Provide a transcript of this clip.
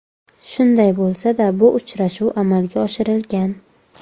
Shunday bo‘lsa-da, bu uchrashuv amalga oshirilgan.